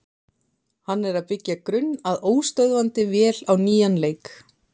Hann er að byggja grunn að óstöðvandi vél á nýjan leik.